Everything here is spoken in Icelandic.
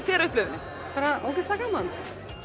þér upplifunin bara ógeðslega gaman